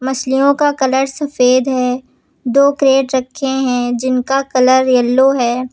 मछलियों का कलर सफेद है। दो क्रैट रखे हैं जिनका कलर येलो हैं।